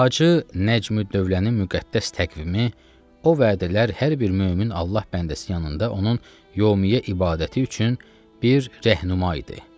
Hacı Nəcmüddövlənin müqəddəs təqvimi o vədələr hər bir mömin Allah bəndəsi yanında onun yevmiyyə ibadəti üçün bir rəhnuma idi.